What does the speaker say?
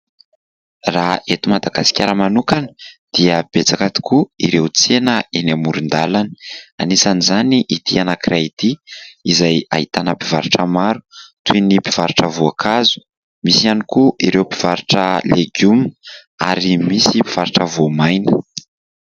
Raha eto Madagasikara manokana dia betsaka tokoa ireo tsena eny amoron-dalana, anisany izany ity anankiray ity, izay ahitana mpivarotra maro toy ny mpivarotra voankazo, misy ihany koa ireo mpivarotra legioma ary misy mpivarotra voamaina.